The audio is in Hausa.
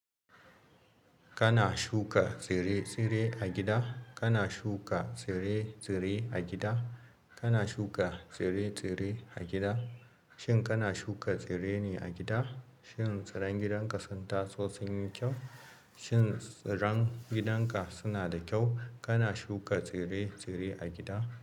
Kana shuka tsire-tsire a gida? Kana shuka tsire-tsire a gida? Kana shuka tsire-tsire a gida? Shin kana shuka tsire ne a gida? Shin tsiran gidanka sun taso sun yi kyau? Shin tsiran gidanka suna da kyau? Kana shuka tsire-tsire a gida?